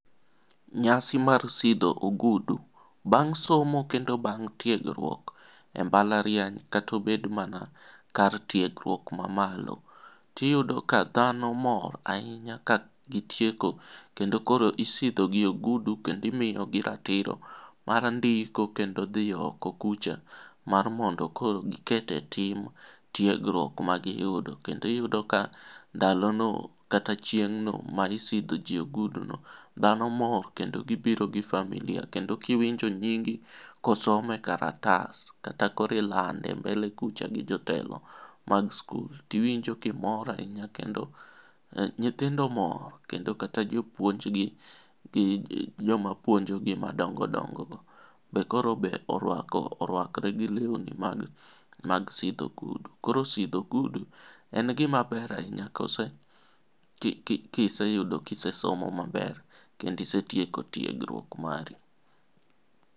Nyasi mar sidho ogudu, bang' somo kendo bang' tiegruok, e mbalariany kata obed mana kar tiegruok ma malo, tiyudo ka dhano mor ahinya ka gitieko kendo koro isidhogi ogudu kendo imiyogi ratiro mar ndiko kendo dhi oko kucha mar mondo koro giket e tim tiegruok ma giyudo. Kendo iyudo ka ndalono, kata chieng'no ma isidho jii oguduno, dhano mor kendo gibiro gi familia. Kendo kiwinjo nyingi kosom e karatas kata koro ilande mbele kucha gi jotelo mag skul, tiwinjo kimor ahinya kendo, nyithindo mor .Kendo kata jopuonjgi gi joma puonjogi madongodongogo be koro orwako, orwakore gi lewni mag sidho ogudu. Koro sidho ogudu, en gima ber ahinya kiseyudo kisesomo maber kendo isetieko tiegruok mari.